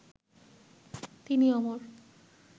তিনি অমর